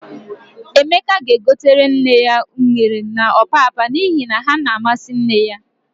Emeka ga-egotere nne ya unere na ọpapa n'ihi na ha na-amasị nne ya.